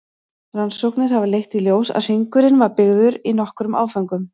Rannsóknir hafa leitt í ljós að hringurinn var byggður í nokkrum áföngum.